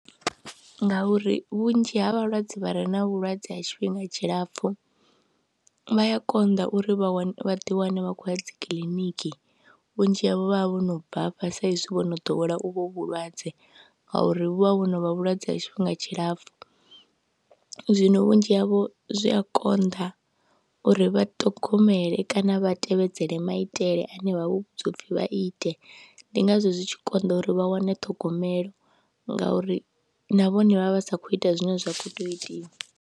Ngauri vhunzhi ha vhalwadze vha re na vhulwadze ha tshifhinga tshilapfhu vha ya konḓa uri vha wane, vha ḓiwane vha khou ya dzi kiḽiniki, vhunzhi havho vha vha vho no bvafha sa izwi vho no ḓowela u vho vhulwadze ngauri vhu vha vho no vha vhulwadze ha tshifhinga tshilapfhu. Zwino vhunzhi havho zwi a konḓa uri vha ṱhongomele kana vha tevhedzele maitele ane vha vhudzwa u pfhi vha ite, ndi ngazwo zwi tshi konḓa uri vha wane ṱhogomelo ngauri na vhone vha vha sa khou ita zwine zwa khou tea u itiwa.